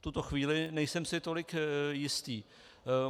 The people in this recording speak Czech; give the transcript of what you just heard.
V tuto chvíli nejsem si tolik jistý.